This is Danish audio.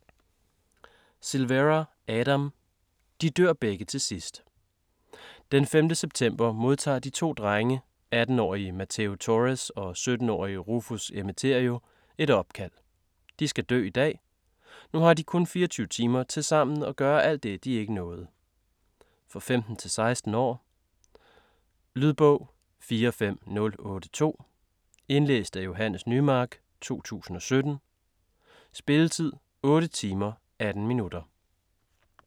Silvera, Adam: De dør begge til sidst Den 5. september modtager de to drenge 18-årige Mateo Torrez og 17-årige Rufus Emeterio et opkald. De skal dø i dag. Nu har de to kun 24 timer til sammen at gøre alt det de ikke nåede. For 15-16 år. Lydbog 45082 Indlæst af Johannes Nymark, 2017. Spilletid: 8 timer, 18 minutter.